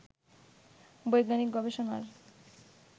বৈজ্ঞানিক গবেষণার